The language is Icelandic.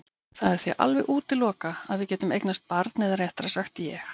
Það er því alveg útilokað að við getum eignast barn eða réttara sagt ég.